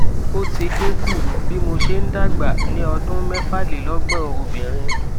ó ti dín kù bí mo ṣe ń dàgbà ní ọdún mefalelogbon obìnrin